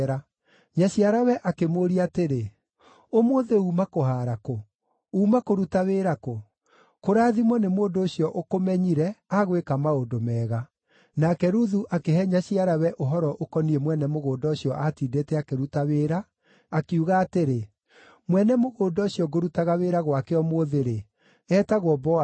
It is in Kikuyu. Nyaciarawe akĩmũũria atĩrĩ, “Ũmũthĩ uuma kũhaara kũ? Uuma kũruta wĩra kũ? Kũrathimwo nĩ mũndũ ũcio ũkũmenyire, agwĩka maũndũ mega!” Nake Ruthu akĩhe nyaciarawe ũhoro ũkoniĩ mwene mũgũnda ũcio aatindĩte akĩruta wĩra, akiuga atĩrĩ, “Mwene mũgũnda ũcio ngũrutaga wĩra gwake ũmũthĩ-rĩ, etagwo Boazu.”